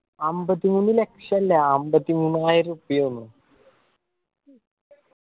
അമ്പത്തിമൂന്ന് ലക്ഷം അല്ല അമ്പത്തി മൂവായിരം ഉറുപ്പിയ ആ തോന്നു